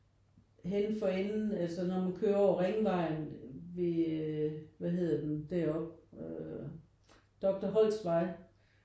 Henne for enden altså når man kører over Ringvejen ved hvad hedder den deropppe? Øh Doktor Holst Vej